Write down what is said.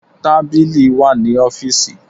Tábìlì wà ní ọ́fíìsì.